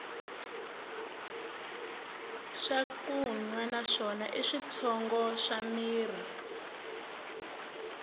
swakunwa na swona i switshongo swa mirhi